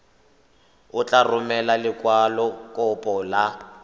o tla romela lekwalokopo la